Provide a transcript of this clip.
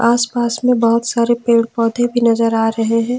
आसपास में बहोत सारे पेड़ पौधे भी नजर आ रहे हैं।